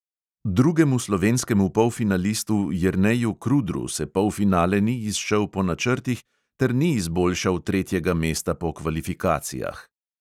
Drugemu slovenskemu polfinalistu jerneju krudru se polfinale ni izšel po načrtih ter ni izboljšal tretjega mesta po kvalifikacijah.